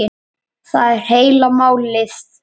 Það er heila málið!